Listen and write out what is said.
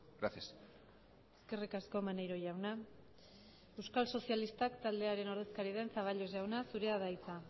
gracias eskerrik asko maneiro jauna euskal sozialistak taldearen ordezkaria den zaballos jauna zurea da hitza